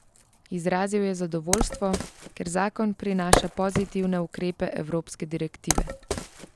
Izrazil je zadovoljstvo, ker zakon prinaša pozitivne ukrepe evropske direktive.